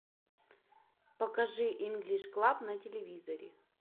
покажи инглиш клаб на телевизоре